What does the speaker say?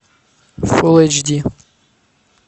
фул эйч ди